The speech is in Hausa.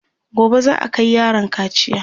gobe za'a Kai yaron kaciya